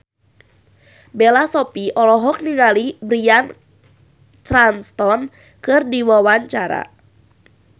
Bella Shofie olohok ningali Bryan Cranston keur diwawancara